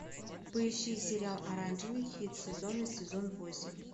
поищи сериал оранжевый хит сезона сезон восемь